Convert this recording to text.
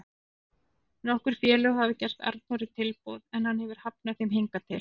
Nokkur félög hafa gert Arnóri tilboð en hann hefur hafnað þeim hingað til.